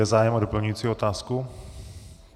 Je zájem o doplňující otázku?